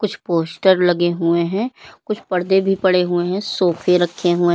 कुछ पोस्टर लगे हुए हैं कुछ पर्दे भी पड़े हुए हैं। सोफे रखे हुए --